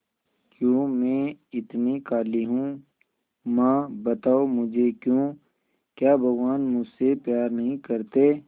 क्यों मैं इतनी काली हूं मां बताओ मुझे क्यों क्या भगवान मुझसे प्यार नहीं करते